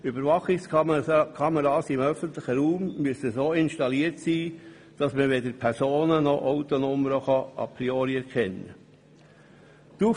Überwachungskameras im öffentlichen Raum müssen so installiert sein, dass man weder Personen noch Autokennzeichen a priori erkennen kann.